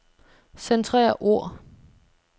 Centrer ord.